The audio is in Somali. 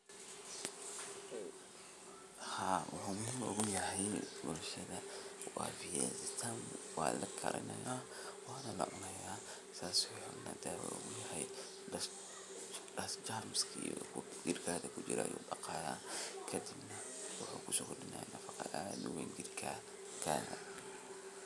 Haa wuxu muhiim uyahay bulshatha wa viazi tamu walakarinaya wana lacunaya germs jirkaga kujiro ayu daqaya kadib wuxu kusokordinaya nafaqathaa jirkaga